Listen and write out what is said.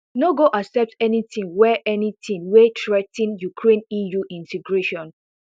no go accept anything wey anything wey threa ten ukraine eu integration